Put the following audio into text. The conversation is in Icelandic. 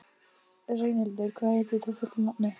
Reynhildur, hvað heitir þú fullu nafni?